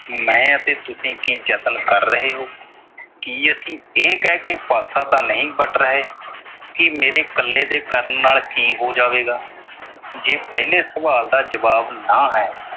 ਮੈਂ ਅਤੇ ਤੁਸੀਂ ਕੀ ਯਤਨ ਕਰ ਰਹੇ ਹੋ। ਕੀ ਅਸੀਂ ਇਹ ਕਹਿ ਕੇ ਪਾਸਾ ਤਾਂ ਨਹੀਂ ਵੱਟ ਰਹੇ। ਕਿ ਮੇਰੇ ਕੱਲੇ ਦੇ ਕਰਨ ਨਾਲ ਕੀ ਹੋ ਜਾਵੇਗਾ। ਜੇ ਪਹਿਲੇ ਸਵਾਲ ਦਾ ਜਵਾਬ ਨਾ ਹੈ।